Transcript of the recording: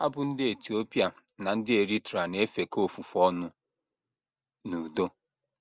Ha bụ́ ndị Etiopia na ndị Eritrea na - efekọ ofufe ọnụ n’udo